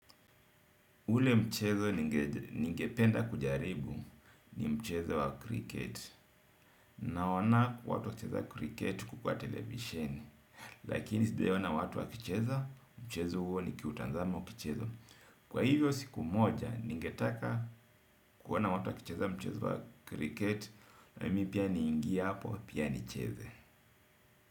Ule mchezo ningependa kujaribu ni mchezo wa kriketi naona watu wakicheza kriketi kwa televisheni lakini sijawahi ona watu wakicheza, mchezo huo nikiutazama ukichezwa. Kwa hivyo siku moja ningetaka kuona watu wakicheza mchezo wa kiriketi. Na mi pia niingie hapo, pia nicheze.